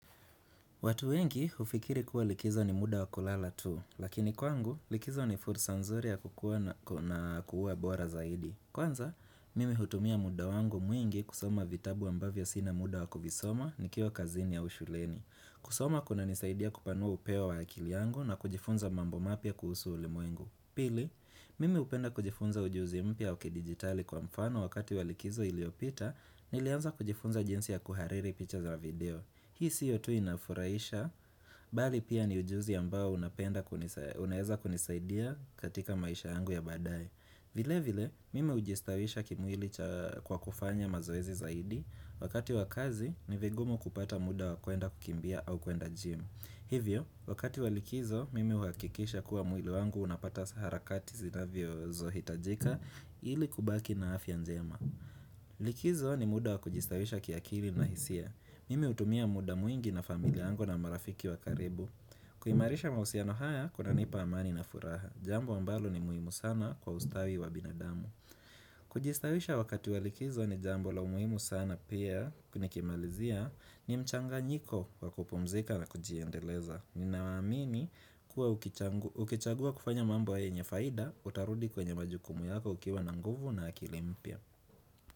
Watu wengi hufikiri kuwa likizo ni muda wa kulala tu, lakini kwangu likizo ni fursa nzuri ya kukuwa na kuuwa bora zaidi. Kwanza, mimi hutumia muda wangu mwingi kusoma vitabu ambavyo sina muda wakuvisoma nikiwa kazini au shuleni. Kusoma kunanisaidia kupanua upeo wa akili yangu na kujifunza mambo mapya kuhusu ulimwengu. Pili, mimi hupenda kujifunza ujuzimpya wa kidigitali kwa mfano wakati wa likizo iliopita, nilianza kujifunza jinsi ya kuhariri picha za video. Hii sio tu inafurahisha, bali pia ni ujuzi ambao unapenda, unaweza kunisaidia katika maisha yangu ya badae. Vile vile, mimi hujistawisha kimwili kwa kufanya mazoezi zaidi, wakati wakazi ni vigumu kupata muda wa kwenda kukimbia au kwenda gym. Hivyo, wakati wa likizo, mimi huhakikisha kuwa mwili wangu unapata saharakati zinavyo hitajika ili kubaki na afya njema. Likizo ni muda wa kujistawisha ki akili na hisia Mimi hutumia muda mwingi na familia yangu na marafiki wa karibu kuimarisha mahusiano haya kunanipa amani na furaha Jambo ambalo ni muhimu sana kwa ustawi wa binadamu Kujistawisha wakati wa likizo ni jambo la umuhimu sana pia nikimalizia ni mchanganyiko kwa kupumzika na kujiendeleza Ninawaamini kuwa ukichagua kufanya mambo yenye faida Utarudi kwenye majukumu yako ukiwa na nguvu na akili mpya.